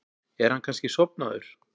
Er hann kannski sofnaður?